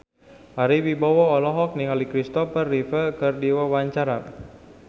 Ari Wibowo olohok ningali Kristopher Reeve keur diwawancara